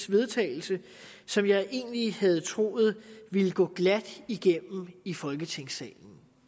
vedtagelse som jeg egentlig havde troet ville gå glat igennem i folketingssalen